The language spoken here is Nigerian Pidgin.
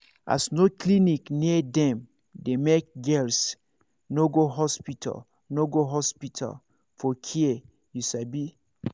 as no clinic near dem dey make girls no go hospital no go hospital for care you sabi